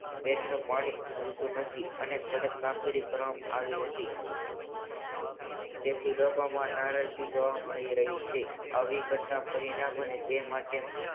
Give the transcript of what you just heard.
પેટનું પાણી હાલતું નથી. અને કડક કામગીરી કરવામાં આવી નથી. તેથી લોકોમાં નારાજગી જોવામાં મળી રહી છે. આવી ઘટના ફરી ના બને તે માટે